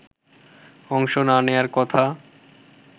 অংশ না নেয়ার কথা